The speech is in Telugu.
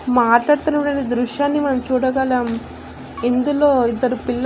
మాట్లాడుతున్నప్పుడు దృశ్యాన్ని మనం చూడగలం ఇందులో ఇద్దరు పిల్ల--